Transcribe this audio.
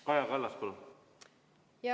Kaja Kallas, palun!